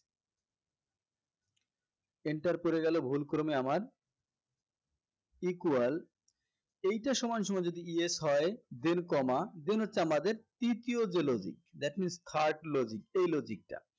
enter পরে গেলো ভুলক্রমে আমার equal এইটা সমানসমান যদি yes হয় then comma then হচ্ছে আমাদের তৃতীয় যে logic that means third logic এই logic টা